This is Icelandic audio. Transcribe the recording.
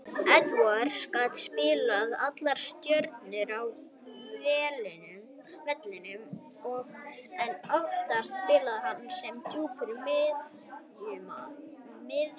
Edwards gat spilað allar stöður á vellinum en oftast spilaði hann sem djúpur miðjumaður.